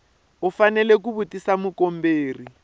u fanele ku tivisa mukomberi